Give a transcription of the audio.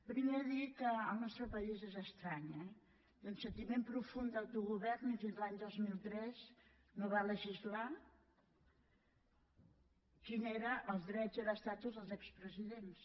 primer dir que el nostre país és estrany té un sentiment profund d’autogovern i fins a l’any dos mil tres no va legislar quins eren els drets i l’estatus dels expresidents